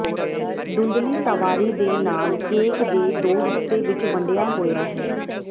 ਧੁੰਦਲੀ ਸਵਾਰੀ ਦੇ ਨਾਲ ਕੇਕ ਦੇ ਦੋ ਹਿੱਸੇ ਵਿੱਚ ਵੰਡਿਆ ਹੋਇਆ ਹੈ